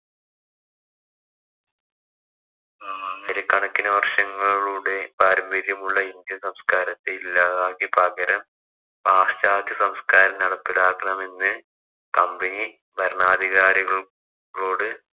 ആയിരക്കണക്കിന് വര്‍ഷങ്ങളുടെ പാരമ്പര്യമുള്ള ഇന്ത്യന്‍ സംസ്കാരത്തെ ഇല്ലാതാക്കി പകരം പാശ്ചാത്യ സംസ്കാരം നടപ്പിലാക്കണമെന്ന് company ഭരണാധികാരികളോട്